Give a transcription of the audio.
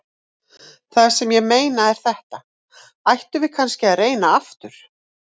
Það sem ég meina er þetta: Ættum við kannski að reyna aftur?